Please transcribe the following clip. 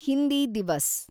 Hindi Diwas